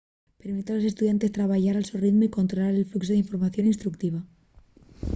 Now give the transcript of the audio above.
permite a los estudiantes trabayar al so ritmu y controlar el fluxu d'información instructiva